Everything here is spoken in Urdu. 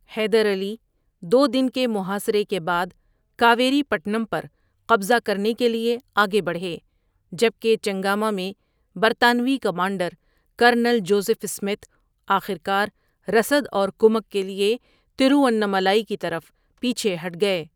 حیدر علی دو دن کے محاصرے کے بعد کاویری پٹنم پر قبضہ کرنے کے لیے آگے بڑھے، جب کہ چنگاما میں برطانوی کمانڈر، کرنل جوزف اسمتھ آخرکار رسد اور کمک کے لیے ترووانمالائی کی طرف پیچھے ہٹ گئے۔